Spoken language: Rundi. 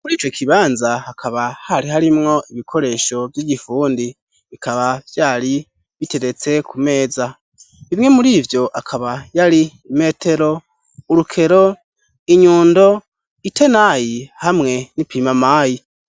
Mur'ico kibanza hakaba harimwo ibikoresho vy'igifundi, bikaba vyari biteretse ku meza. Bimwe mur'ivyo, akaba yari: imetero, uruker, inyundo itenayi, hamwe n'ipimamayi.